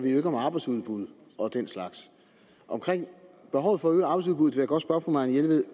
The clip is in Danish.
om arbejdsudbud og den slags omkring behovet for at øge arbejdsudbuddet vil jeg godt spørge fru marianne jelved